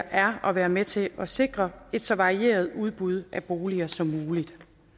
er at være med til at sikre et så varieret udbud af boliger som muligt